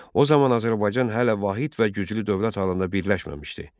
O zaman Azərbaycan hələ vahid və güclü dövlət halında birləşməmişdi.